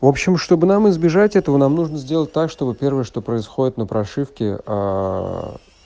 в общем чтобы нам избежать этого нам нужно сделать так чтобы первое что происходит на прошивке аа